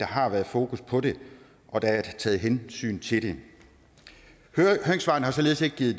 har været fokus på det og at der er taget hensyn til det høringssvarene har således ikke givet